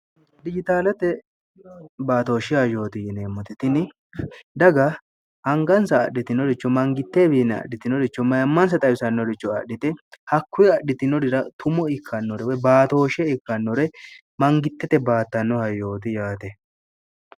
dijitaalate baatooshiha yooti yineemmote tini daga hangansa adhitinoricho mangittewiinni adhitinoricho mayammaansa xawisannoricho adhite hakkuwi adhitinorira tumo ikkannore woy baatooshe ikkannore mangittete baattannoha yooti yaate